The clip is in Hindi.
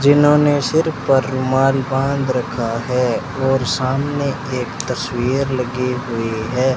जिन्होंने सिर पर रूमाल बांध रखा है और सामने एक तस्वीर लगी हुई है।